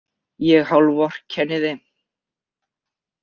Ég hálfvorkenni þeim.